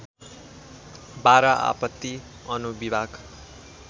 १२ आपत्ति अनुविभाग